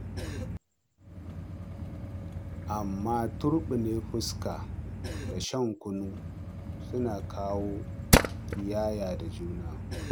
Amma turɓune fuska da shan kunu suna kawo ƙiyayya da juna.